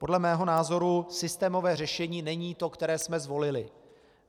Podle mého názoru systémové řešení není to, které jsme zvolili.